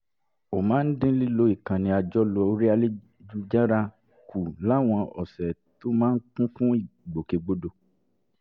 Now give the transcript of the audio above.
ó máa ń dín lílo ìkànnì àjọlò orí ayélujára kù láwọn ọ̀sẹ̀ tó máa ń kún fún ìgbòkègbodò